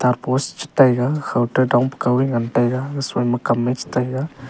ama post chu taiga khaw dong pakhaw e ngan taiga soima kam e chetaiga.